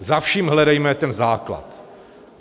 Za vším hledejme ten základ.